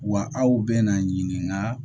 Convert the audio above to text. Wa aw bɛna na ɲininka